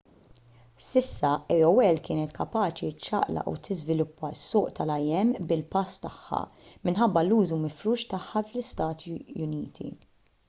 sa issa aol kienet kapaċi ċċaqlaq u tiżviluppa s-suq tal-im bil-pass tagħha minħabba l-użu mifrux tagħha fl-istati uniti